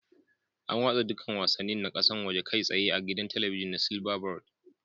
Ana watsa dukkan wasannin na kasa woje kai tsaye a gidan talabijin na silverbird